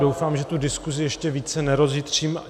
Doufám, že tu diskuzi ještě více nerozjitřím.